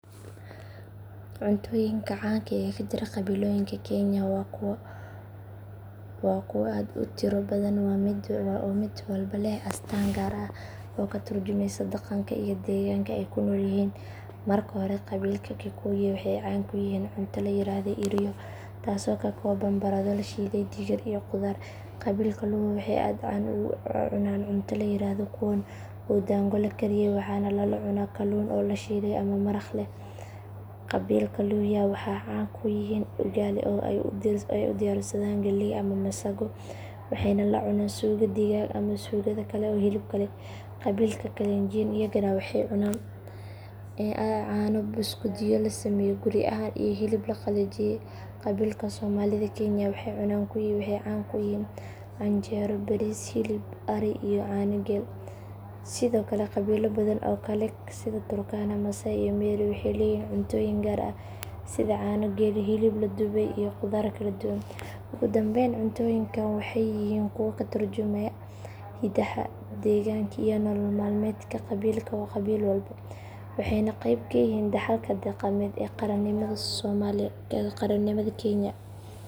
Cuntooyinka caanka ah ee ka jira qabiilooyinka kenya waa kuwo aad u tiro badan oo mid walba leh astaan gaar ah oo ka tarjumeysa dhaqanka iyo deegaanka ay ku nool yihiin. Marka hore qabiilka kikuyu waxay caan ku yihiin cunto la yiraahdo irio taasoo ka kooban baradho la shiiday, digir iyo qudaar. Qabiilka luo waxay aad u cunaan cunto la yiraahdo kuon oo ah daango la kariyay waxaana lala cunaa kalluun la shiilay ama maraq leh. Qabiilka luhya waxay caan ku yihiin ugali oo ay u diyaarsadaan galley ama masago waxayna la cunaan suugo digaag ama suugada kale ee hilibka leh. Qabiilka kalenjin iyagana waxay aad u cunaan caano, buskudyo la sameeyo guri ahaan iyo hilib la qalajiyay. Qabiilka somalida kenya waxay caan ku yihiin canjeero, bariis, hilib ari iyo caano geel. Sidoo kale qabiilo badan oo kale sida turkana, maasai iyo meru waxay leeyihiin cuntooyin gaar ah sida caano geela, hilib la dubay iyo qudaar kala duwan. Ugu dambayn cuntooyinkan waxay yihiin kuwa ka tarjumaya hiddaha, deegaanka iyo nolol maalmeedka qabiil walba waxayna qeyb ka yihiin dhaxalka dhaqameed ee qaranimada kenya.